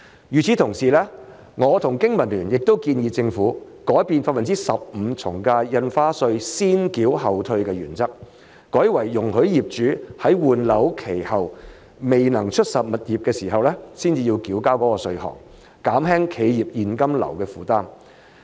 與此同時，我和經民聯也建議政府改變 15% 從價印花稅先繳後退的原則，改為容許業主在換樓期後未能出售物業的情況下才須繳交該稅項，減輕企業現金流的負擔。